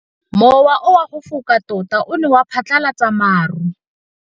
Mowa o wa go foka tota o ne wa phatlalatsa maru.